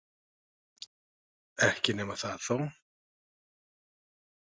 Ekki nema það þó.